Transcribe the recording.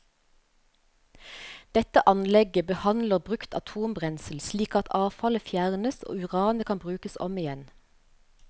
Dette anlegget behandler brukt atombrensel slik at avfallet fjernes og uranet kan brukes om igjen.